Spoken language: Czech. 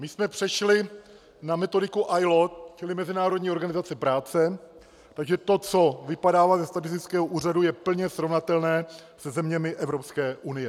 My jsme přešli na metodiku ILO, čili Mezinárodní organizace práce, takže to, co vypadává ze statistického úřadu, je plně srovnatelné se zeměmi Evropské unie.